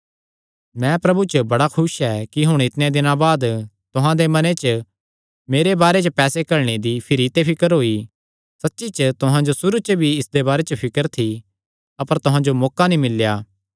मैं प्रभु च बड़ा खुस ऐ कि हुण इतणेयां दिनां बाद तुहां दे मने च मेरे बारे च पैसे घल्लणे दी भिरी ते फिकर होई सच्ची च तुहां जो सुरू च भी इसदे बारे च फिकर थी अपर तुहां जो मौका नीं मिल्लेया